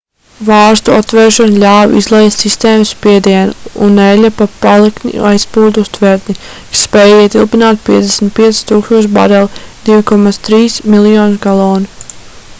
vārstu atvēršana ļāva izlaist sistēmas spiedienu un eļļa pa paliktni aizplūda uz tvertni kas spēj ietilpināt 55 000 barelu 2,3 miljonus galonu